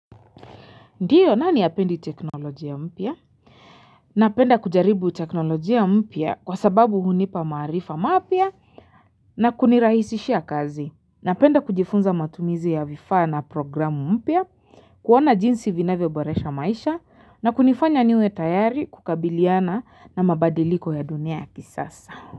Ndiyo nani hapendi teknolojia mpya? Napenda kujaribu teknolojia mpya kwa sababu hunipa maarifa mapya na kunirahisishia kazi. Napenda kujifunza matumizi ya vifa na programu mpya, kuona jinsi vinavyo boresha maisha na kunifanya niwe tayari kukabiliana na mabadiliko ya dunia ya kisasa.